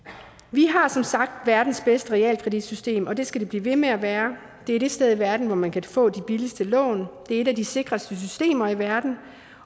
vi har som sagt verdens bedste realkreditsystem og det skal det blive ved med at være det er det sted i verden hvor man kan få de billigste lån det er et af de sikreste systemer i verden